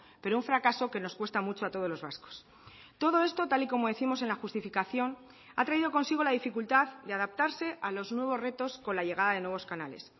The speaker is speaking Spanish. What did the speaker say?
pero un fracaso que nos cuesta mucho a todos los vascos todo esto tal y como décimos en la justificación ha traído consigo la dificultad de adaptarse a los nuevos retos con la llegada de nuevos canales